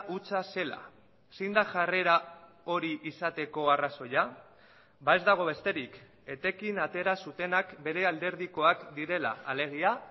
hutsa zela zein da jarrera hori izateko arrazoia ez dago besterik etekin atera zutenak bere alderdikoak direla alegia